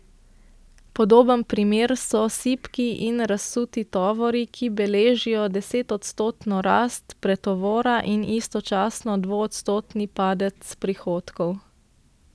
Podoben primer so sipki in razsuti tovori, ki beležijo desetodstotno rast pretovora in istočasno dvoodstotni padec prihodkov.